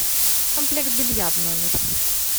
комплект белья в номер